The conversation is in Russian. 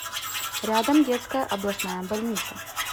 рядом детская областная больница